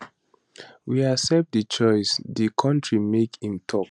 we accept di choice di kontri make im tok